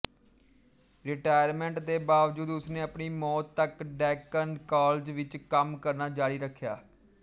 retirement ਦੇ ਬਾਵਜੂਦ ਉਸਨੇ ਆਪਣੀ ਮੌਤ ਤਕ ਡੈੱਕਨ ਕਾਲਜ ਵਿੱਚ ਕੰਮ ਕਰਨਾ ਜਾਰੀ ਰੱਖਿਆ